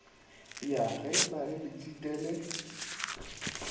ya ge ba le letshitele